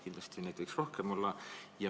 Kindlasti võiks seda rohkem olla.